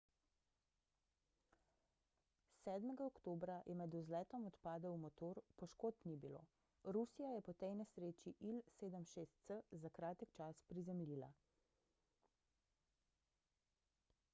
7 oktobra je med vzletom odpadel motor poškodb ni bilo rusija je po tej nesreči il-76s za kratek čas prizemljila